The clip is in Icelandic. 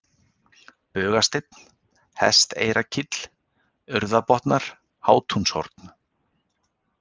Bugasteinn, Hesteyrakíll, Urðarbotnar, Hátúnshorn